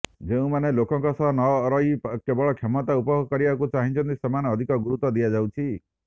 ଯେଉଁମାନେ ଲୋକଙ୍କ ସହ ନ ରହି କେବଳ କ୍ଷମତା ଉପଭୋଗ କରିବାକୁ ଚାହୁଁଛନ୍ତି ସେମାନଙ୍କୁ ଅଧିକ ଗୁରୁତ୍ୱ ଦିଆଯାଉଛି